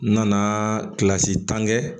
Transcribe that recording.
N nana kilasi tan kɛ